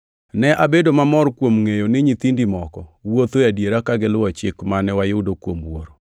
Ne abedo mamor kuom ngʼeyo ni nyithindi moko wuotho e adiera ka giluwo chik mane wayudo kuom Wuoro.